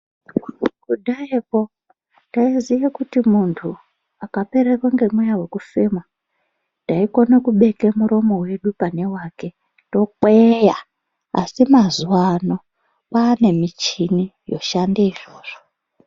Kudhayako taiziye kuti muntu akapererwa ngemweya wekufema taikone kubeka muromo wedu pane wake, tokweya, Asi mazuwano kwane michini yoshande izvozvo.